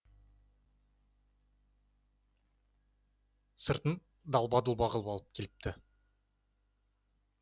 сыртын далба дұлба қылып алып келіпті